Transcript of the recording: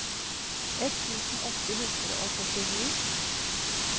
ett tusen åtte hundre og førtini